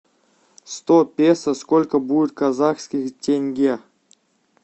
сто песо сколько будет казахских тенге